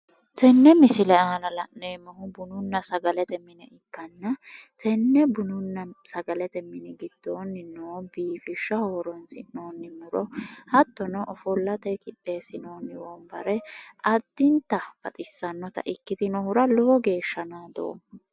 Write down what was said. Tenne misile aana la'neemohu bununna sagalete mine ikkana tenne bununna sagalete mini gidooni noo biifishaho horonisi'nooni miro hattono ofollate qixeesinooni wonibare addinitanni baxissanota ikkitinonihira lowo geesha naadooma